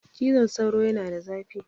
Cizon sauro yana da zafi.